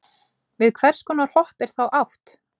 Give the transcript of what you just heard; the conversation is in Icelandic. við hvers konar hopp er þá átt